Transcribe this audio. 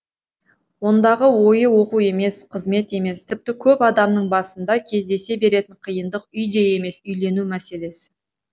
ондағы ойы оқу емес қызмет емес тіпті көп адамның басында кездесе беретін қиындық үй де емес үйлену мәселесі